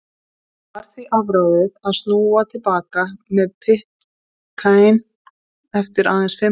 Það var því afráðið að snúa til baka til Pitcairn eftir aðeins fimm mánaða dvöl.